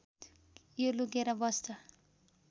यो लुकेर बस्छ